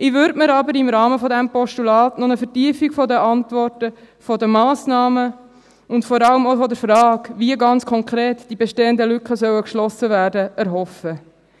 Ich würde mir aber im Rahmen dieses Postulats noch eine Vertiefung der Antworten, der Massnahmen und vor allem auch der Frage, wie die bestehenden Lücken ganz konkret geschlossen werden sollen, erhoffen